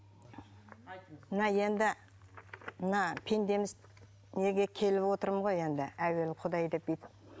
мына енді мына пендеміз неге келіп отырмын ғой енді әуелі құдай деп бүйтіп